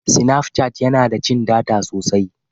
Sinaf cat yana da cin data sosai.